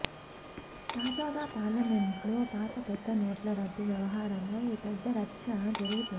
తాజాగా పార్లమెంటులో పాత పెద్ద నోట్ల రద్దు వ్యవహారమై పెద్ద రచ్చ జరుగుతోంది